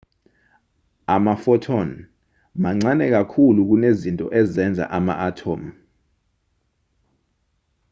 ama-phothon mancane kakhulu kunezinto ezenza ama-athomu